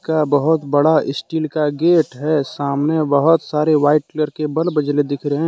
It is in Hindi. यह बहुत बड़ा स्टील का गेट है सामने बहुत सारे व्हाइट कलर के बल्ब जले दिख रहे हैं।